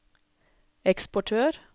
eksportør